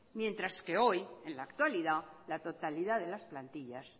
mientras que hoy en la actualidad la totalidad de las plantillas